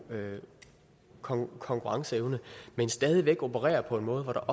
konkurrenceevne men stadig væk opererer på en måde